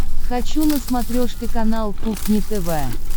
хочу на смотрешке канал кухня тв